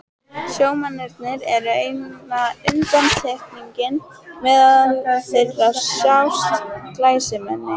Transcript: Sjómennirnir eru eina undantekningin, meðal þeirra sjást glæsimenni.